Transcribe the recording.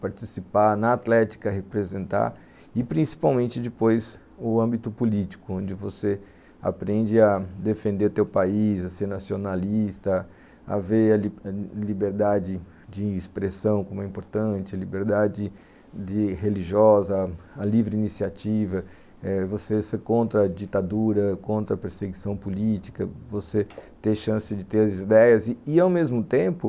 participar na atlética, representar e principalmente depois o âmbito político, onde você aprende a defender teu país, a ser nacionalista, a ver a liberdade de expressão como é importante, a liberdade religiosa, a livre iniciativa, eh você ser contra a ditadura, contra a perseguição política, você ter chance de ter as ideias e, ao mesmo tempo,